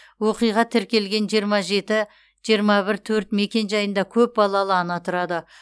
оқиға тіркелген жиырма жеті жиырма бір төрт мекенжайында көп балалы ана тұрады